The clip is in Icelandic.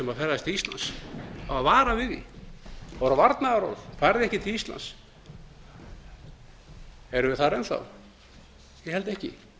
ferðast til íslands það var varað við því það voru varnaðarorð farið ekki til íslands erum við þar enn enn þá ég held ekki